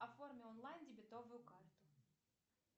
оформи онлайн дебетовую карту